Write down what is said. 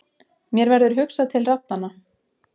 Mér verður hugsað til raddanna.